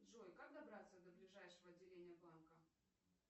джой как добраться до ближайшего отделения банка